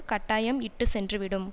கட்டாயம் இட்டு சென்று விடும்